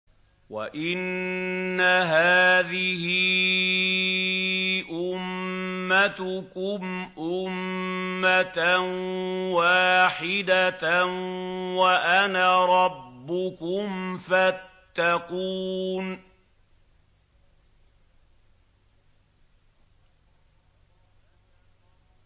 وَإِنَّ هَٰذِهِ أُمَّتُكُمْ أُمَّةً وَاحِدَةً وَأَنَا رَبُّكُمْ فَاتَّقُونِ